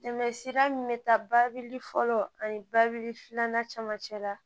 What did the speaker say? Tɛmɛ sira min bɛ taa babili fɔlɔ ani babili filanan cɛmancɛ la